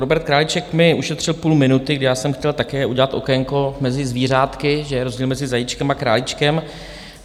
Robert Králíček mi ušetřil půl minuty, kdy já jsem chtěl také udělat okénko mezi zvířátky, že je rozdíl mezi zajíčkem a králíčkem.